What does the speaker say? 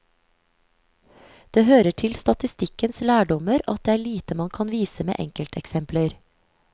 Det hører til statistikkens lærdommer at det er lite man kan vise med enkelteksempler.